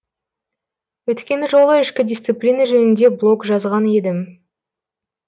өткен жолы ішкі дисциплина жөнінде блог жазған едім